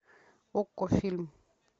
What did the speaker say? окко фильм